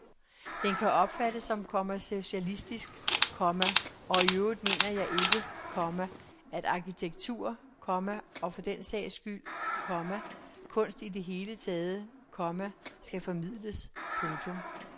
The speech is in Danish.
Den kan opfattes som kommercialistisk, komma og iøvrigt mener jeg ikke, komma at arkitektur, komma og for den sags skyld, komma kunst i det hele taget, komma skal formidles. punktum